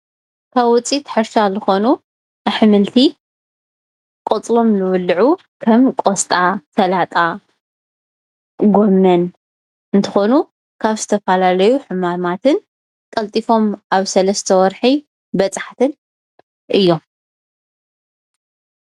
ካብ ውፅኢ ሕርሻ ዝኮኑ ኣሕምልቲ ቆፅሎም ዝብልዑ ካብ ቆስጣ፣ ሰላጣ፣ ጎሞን እንትኮኑ ካብ ዝተፈላለዩ ሕማማትን ቀልጢፎመ ኣብ ሰላስተ ወርሒ በፃሕትን እዮም፡፡